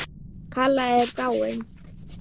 Kalla er dáin.